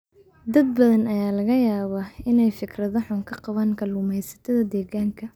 Dad badan ayaa laga yaabaa inay fikrado xun ka qabaan kalluumaysatada deegaanka.